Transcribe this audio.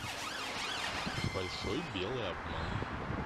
большой белый обман